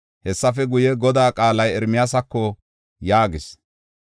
Hessafe guye, Godaa qaalay Ermiyaasako yaagis.